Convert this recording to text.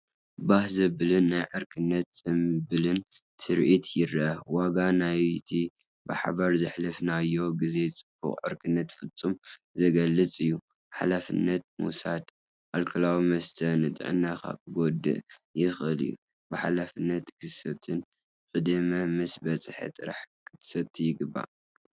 ባህ ዘብልን ናይ ዕርክነትን ጽምብልን ትርኢት ይረአ። ዋጋ ናይቲ ብሓባር ዘሕለፍናዮ ግዜን ጽባቐ ዕርክነትን ፍጹም ዝገልጽ እዩ። ሓላፍነት ምውሳድ፦ ኣልኮላዊ መስተ ንጥዕናኻ ክጎድእ ይኽእል እዩ። ብሓላፍነት ክትሰቲን ዕድመ ምስ በጽሐ ጥራይን ክትሰቲ ይግባእ።